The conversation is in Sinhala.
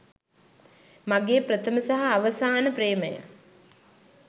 මගේ ප්‍රථම සහ අවසාන ප්‍රේමය.